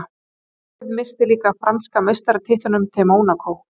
Liðið missti líka af franska meistaratitlinum til Mónakó.